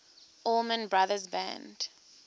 allman brothers band